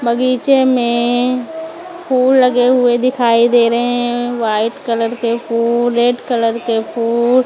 बगीचे में फूल लगे हुए दिखाई दे रहे हैं व्हाइट कलर के फूल रेड कलर के फूल।